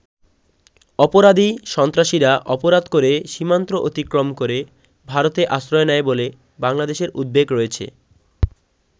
অপরাধী, সন্ত্রাসীরা অপরাধ করে সীমান্ত অতিক্রম করে ভারতে আশ্রয় নেয় বলে বাংলাদেশের উদ্বেগ রয়েছে।